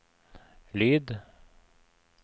lyd